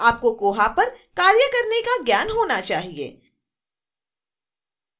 और आपको koha पर कार्य करने का ज्ञान होना चाहिए